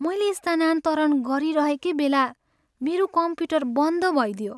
मैैैले स्थानान्तरण गरिरहेकै बेला मेरो कम्प्युटर बन्द भइदियो।